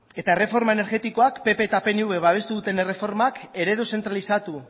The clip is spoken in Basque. eta erreforma energetikoak pp eta pnvk babestu duten erreformak eredu zentralizatu